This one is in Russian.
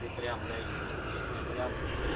ты прям даёшь ну прям